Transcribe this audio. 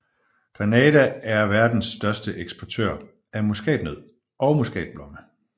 Grenada er verdens største eksportør af muskatnød og muskatblomme